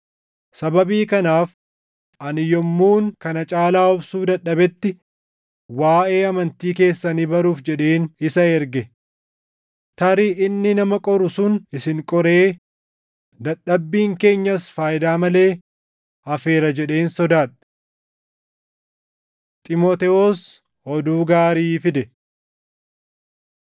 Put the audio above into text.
Sababii kanaaf ani yommuun kana caalaa obsuu dadhabetti waaʼee amantii keessanii baruuf jedheen isa erge. Tarii inni nama qoru sun isin qoree dadhabbiin keenyas faayidaa malee hafeera jedheen sodaadhe. Xiimotewos Oduu Gaarii Fide